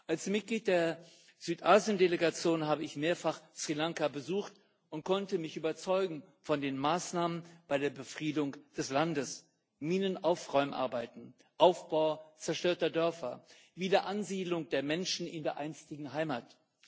Als Mitglied der Südasien Delegation habe ich mehrfach Sri Lanka besucht und konnte mich von den Maßnahmen bei der Befriedung des Landes überzeugen. Minenaufräumarbeiten, Aufbau zerstörter Dörfer, Wiederansiedlung der Menschen in der einstigen Heimat.